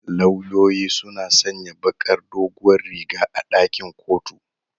Lauyoyi suna sanya bakar doguwar riga a ɗakin kotu.